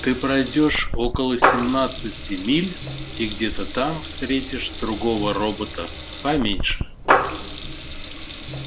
ты пройдёшь около семнадцати миль и где-то там встретишь другого робота поменьше